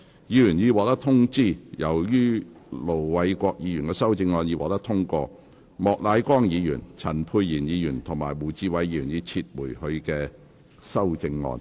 議員已獲通知，由於盧偉國議員的修正案獲得通過，莫乃光議員、陳沛然議員及胡志偉議員已撤回他們的修正案。